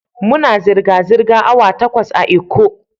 Muna zirga-zirga awa takwas a'lkko.